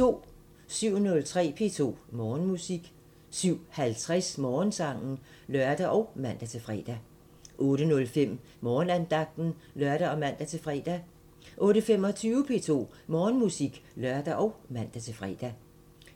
07:03: P2 Morgenmusik 07:50: Morgensangen (lør og man-fre) 08:05: Morgenandagten (lør og man-fre) 08:25: P2 Morgenmusik (lør og man-fre)